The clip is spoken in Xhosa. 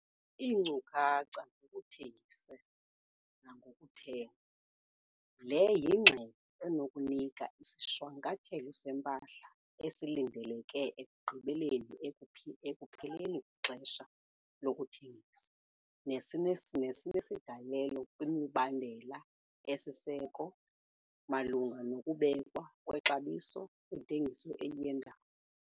Iinkcukacha ngokuthengisa nangokuthenga- Le yingxelo enokunika isishwankathelo sempahla esilindeleke ekugqibeleni ekupheleni kwexesha lokuthengisa, nesinesigalelo kwimibandela esisiseko malunga nokubekwa kwexabiso kwintengiso eyendawo.